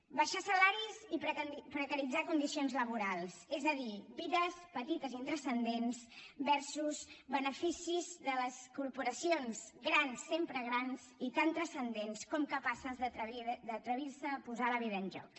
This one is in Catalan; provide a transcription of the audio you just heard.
abaixar salaris i precaritzar condicions laborals és a dir vides petites i intranscendents versusporacions grans sempre grans i tan transcendents com capaces d’atrevir se a posar la vida en joc